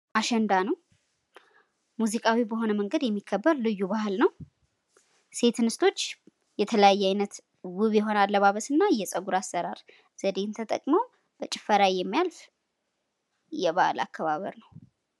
አሸንዳ ነው። ሙዚቃዊ በሆነ መንገድ የሚከበር ልዩ በአል ነው። ሴት እንስቶች የተለያየ አይነት ውብ የሆነ አለባበስ እና የፀጉር አሰራር ዘዴ ተጠቅመው በጭፈራ የሚያልፍ የበዓል አከባበር ነው ።